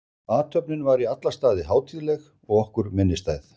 Athöfnin var í alla staði hátíðleg og okkur minnisstæð.